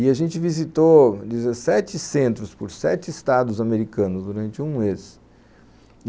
E a gente visitou dezessete centros por sete estados americanos durante um mês.